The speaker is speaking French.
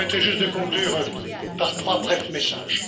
Vous me permettrez juste de conclure par trois brefs messages.